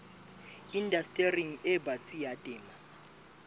indastering e batsi ya temo